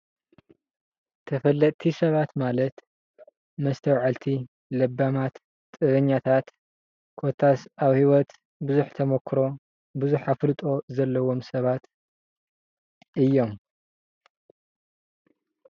ተፈለጥቲ ሰባት ማለት መስተዉዐልቲ ለባማት ጥበበኛታት ኮታስ ኣብ ሂወት ብዙሕ ተሞክሮ ብዙሕ ኣፍልጦ ዘለዎም ሰባት እዮም ።